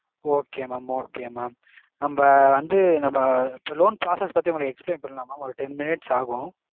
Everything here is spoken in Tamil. okay mam okay mam. நம்ம வந்து நம்ம loan process பத்தி உங்களுக்கு explain பண்ணலாமா? ஒரு ten minutes ஆகும்.